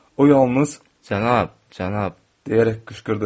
O yalnız "Cənab, cənab!" deyərək qışqırdı.